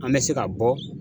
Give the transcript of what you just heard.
An bɛ se ka bɔ.